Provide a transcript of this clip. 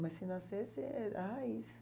Mas se nascesse, é a raiz.